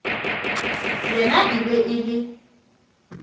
yena e be e le